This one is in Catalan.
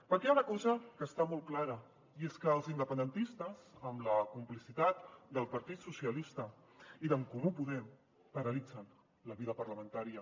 perquè hi ha una cosa que està molt clara i és que els independentistes amb la complicitat del partit socialista i d’en comú podem paralitzen la vida parlamentària